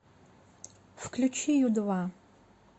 включи ю два